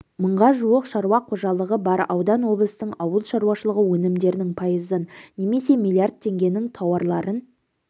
мыңға жуық шаруа қожалығы бар аудан облыстың ауыл шаруашылығы өнімдерінің пайызын немесе миллиард теңгенің тауарларын